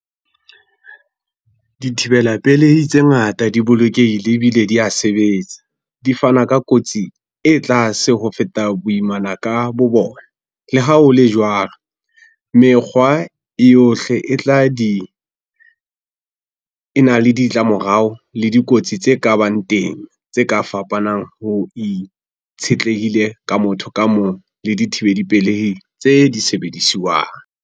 Dithibela pelehi tse ngata di bolokehile ebile di a sebetsa. Di fana ka kotsi e tlase ho feta boimana ka bo bona. Le ha ho le jwalo, mekgwa ohle e tla di, ena le ditlamorao le dikotsi tse ka bang teng tse ka fapanang ho itshetlehile ka motho ka mong le dithibeli pelehi tse di sebedisuwang.